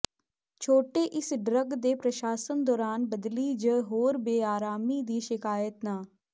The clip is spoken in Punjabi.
ਛੋਟੇ ਇਸ ਡਰੱਗ ਦੇ ਪ੍ਰਸ਼ਾਸਨ ਦੌਰਾਨ ਬਲਦੀ ਜ ਹੋਰ ਬੇਆਰਾਮੀ ਦੀ ਸ਼ਿਕਾਇਤ ਨਾ